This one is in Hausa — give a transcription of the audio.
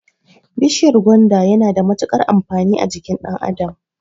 Bishiyar gwanda yana da mutukar amfani a jikin ɗan adam